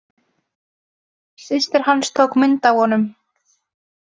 Systir hans tók myndina af honum.